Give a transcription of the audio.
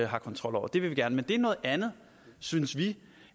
har kontrol over det vil vi gerne men det er noget andet synes vi